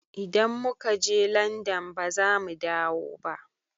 Idan mu ka je Landan baza mu dawo ba